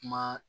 Kuma